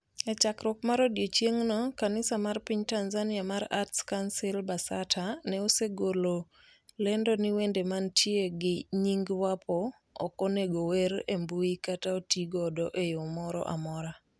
E chakruok mar odiechieng'no, kanisa mar piny Tanzania mar Arts Council (Basata), ne osegolo lendo ni wende mantie gi nying Wapo ok onego ower e mbui kata otigodo e yo moro amora.